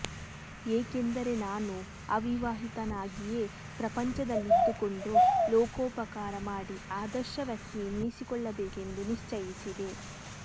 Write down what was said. ಏಕೆಂದರೆ ನಾನು ಅವಿವಾಹಿತನಾಗಿಯೇ ಪ್ರಪಂಚದಲ್ಲಿದ್ದುಕೊಂಡು ಲೋಕೋಪಕಾರ ಮಾಡಿ ಆದರ್ಶ ವ್ಯಕ್ತಿ ಎನ್ನಿಸಿಕೊಳ್ಳಬೇಕೆಂದು ನಿಶ್ಚಯಿಸಿದೆ